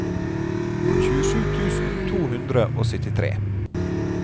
tjuesju tusen to hundre og syttitre